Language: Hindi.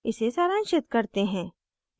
इसे सारांशित करते हैं